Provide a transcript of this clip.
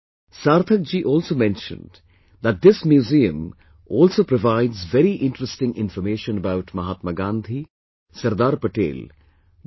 Sarthak ji also mentioned that this museum also provides very interesting information about Mahatma Gandhi, Sardar Patel, Dr